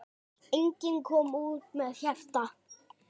Enginn kom út með hjarta.